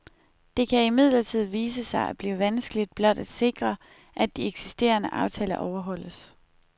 Det kan imidlertid vise sig at blive vanskeligt blot at sikre, at de eksisterende aftaler overholdes.